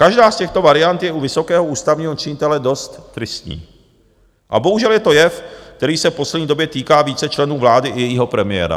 Každá z těchto variant je u vysokého ústavního činitele dost tristní a bohužel je to jev, který se v poslední době týká více členů vlády i jejího premiéra.